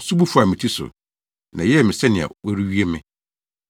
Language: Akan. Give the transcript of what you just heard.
nsu bu faa me ti so, na ɛyɛɛ me sɛnea wɔrewie me.